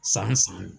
San san